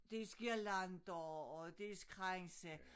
Dels guirlander og dels kranse